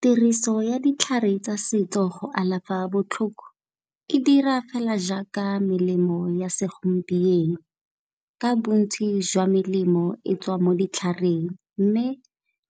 Tiriso ya ditlhare tsa setso go alafa botlhoko e dira fela jaaka melemo ya segompieno, ka bontsi jwa melemo e tswa mo ditlhareng, mme